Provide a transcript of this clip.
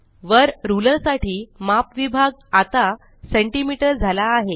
वर रुलर साठी माप विभाग आता सेंटीमीटर झाला आहे